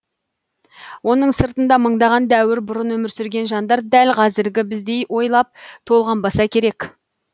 оның сыртында мыңдаған дәуір бұрын өмір сүрген жандар дәл қазіргі біздей ойлап толғанбаса керек